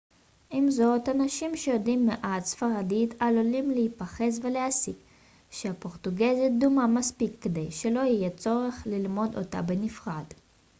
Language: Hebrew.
עם זאת אנשים שיודעים מעט ספרדית עלולים להיחפז ולהסיק שהפורטוגזית דומה מספיק כדי שלא יהיה צורך ללמוד אותה בנפרד